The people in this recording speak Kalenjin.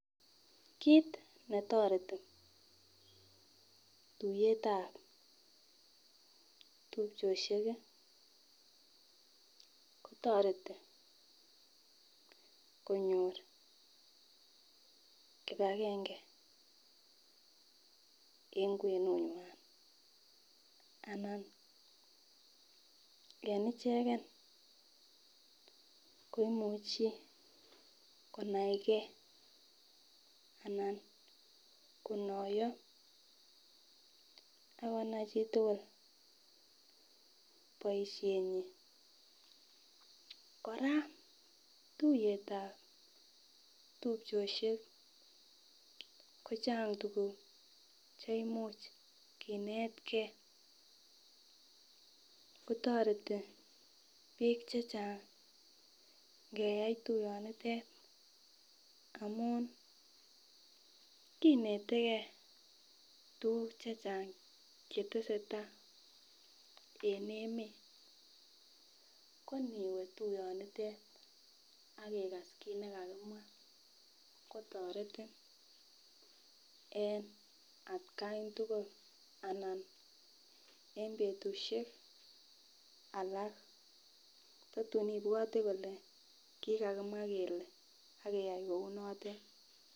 Kiit netoreti tuyetab tupchosiek ko toreti konyor kipagenge en kwenunywan anan en ichegen koimuche konaige anan konoiyo akonaichitugul boisienyin, kora tuyet ab tupchosyek kochang tuguk cheimuch kinetgee kotoreti biik chechang' ngeiyai tuyonitet amun kinetegee tuguk chechang' chetesetai en emeet, ko iniwee tuyonitet ak igas kiit nekakimwa kotoretin en atgan tugul anan en betusiek alak ko tun ibwoti kole kikakimwa kele ak iyai kounotet.